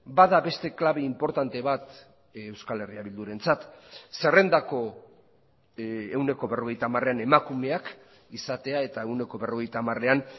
bada beste klabe inportante bat euskal herria bildurentzat zerrendako ehuneko berrogeita hamarean emakumeak izatea eta ehuneko berrogeita hamarean